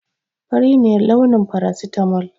Fari ne launin faracitamal